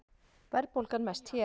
Verðbólgan mest hér